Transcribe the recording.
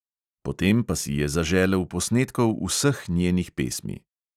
Potem pa si je zaželel posnetkov vseh njenih pesmi.